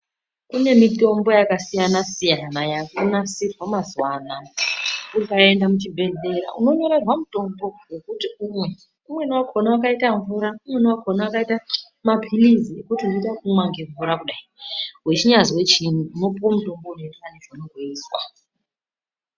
Kune mitombo yakasiyana-siyana ,yaakunasirwa mazuwa anaya. Ukaenda muchibhedhlera unonyorerwa mutombo wekuti umwe, umweni wakaita mvura, umweni wakaita maphilizi kuti unoita ekumwa nemvura kudai .Wechinyanyazwe chiini unopuwe mutombo unoenderana nechounonga weizwa.